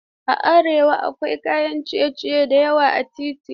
A arewa akwai kayan ciye-ciye da yawa a titi.